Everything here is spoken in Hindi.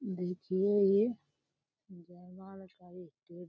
देखिए ये जयमाल का इस्टेज --